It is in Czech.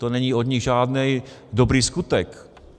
To není od nich žádný dobrý skutek.